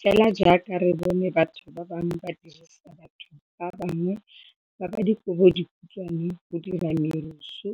Fela jaaka re bone batho bangwe ba dirisa batho ba bangwe ba ba dikobodikhutshwane go dira merusu